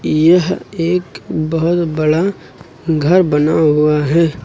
यह एक बहुत बड़ा घर बना हुआ है।